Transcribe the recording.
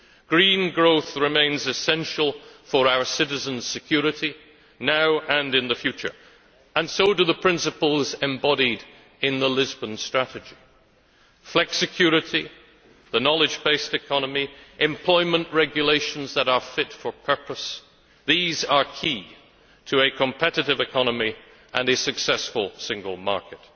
Green growth remains essential for our citizens' security now and in the future, and so do the principles embodied in the Lisbon Strategy flexicurity, the knowledge based economy, employment regulations that are fit for purpose these are key to a competitive economy and a successful single market.